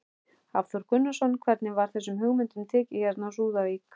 Hafþór Gunnarsson: Hvernig var þessum hugmyndum tekið hérna á Súðavík?